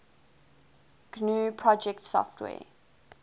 gnu project software